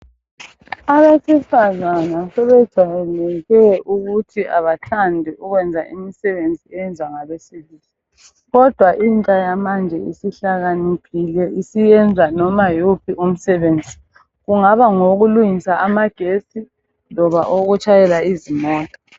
Abesifazana sebejayele ukuthi abathandi ukwenza imisebenzi eyenzwa ngabesilisa nkodwa intsha yamanje isihlakaniphile isiyenza noma yiwuphi umsebenzi ungaba ngowokulungisa amagetsi loba owokutshayela izimota.